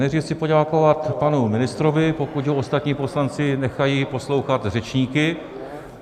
Nejdřív chci poděkovat panu ministrovi, pokud ho ostatní poslanci nechají poslouchat řečníky.